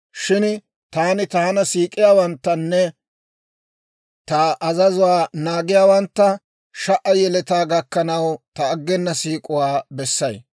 Shin taani taana siik'iyaawanttanne ta azazuwaa naagiyaawantta sha"a yeletaa gakkanaw ta aggena siik'uwaa bessay.